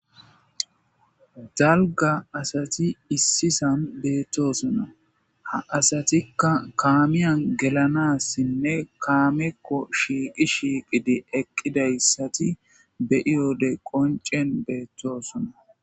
Dalga asati issisan beettosona ha asatika kaamiyan gelanassinne kaamekko shiiqi shiiqidi eqqidayssati beyiyode qoncen beettosona.